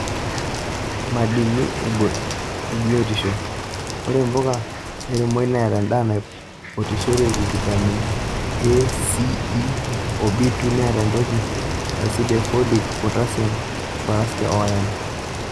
Madini ebiotisho; Ore mpuka ormomoi neata endaa naitopirisho, vitamin; A,C,E oo B2 neata aitoki asid e folic, potasiam, fosforas oo iron.